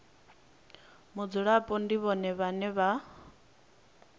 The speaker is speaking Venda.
mudzulapo ndi vhone vhane vha